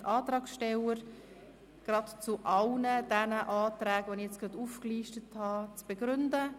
Ich bitte die Antragssteller, zu allen genannten Anträgen ihre Begründung abzugeben.